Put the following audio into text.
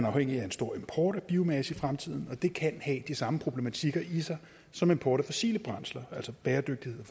afhængig af en stor import af biomasse i fremtiden og det kan have de samme problematikker i sig som import af fossile brændsler altså bæredygtighed